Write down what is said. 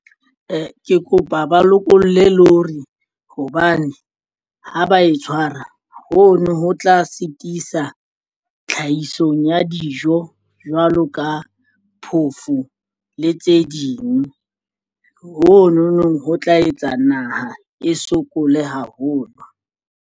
Ee, ke kopa ba lokolle lorry hobane ha ba e tshwara. Hono ho tla sitisa tlhahisong ya dijo. Ho jwalo ka phofo le tse ding mononong ho tla etsa naha e sokole haholo.